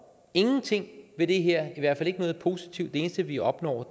ingenting ved det her i hvert fald ikke noget positivt det eneste vi opnår